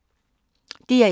DR1